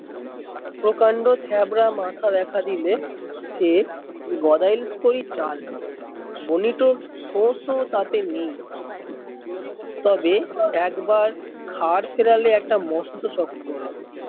প্রকান্ড থ্যাবড়া মাথা দেখা দিলে সে করি চাল ও তাতে নেই তবে একবার ঘাড় ফেরালে একটা মস্তো শক্ত হলো